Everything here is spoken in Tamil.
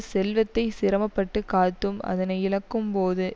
செல்வத்தை சிரமப்பட்டுக் காத்தும் அதனை இழக்கும் போது